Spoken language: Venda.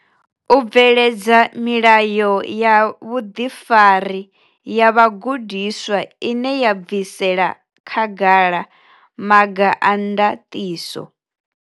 U bveledza milayo ya vhuḓifari ya vhagudiswa ine ya bvisela khagala maga a ndaṱiso.